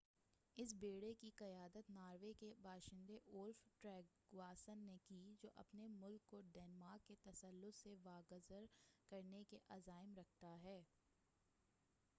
اس بیڑے کی قیادت ناروے کے باشندے اولف ٹریگواسن نے کی جو اپنے ملک کو ڈنمارک کے تسلط سے واگزار کرنے کے عزائم رکھتا ہے